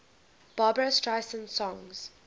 barbra streisand songs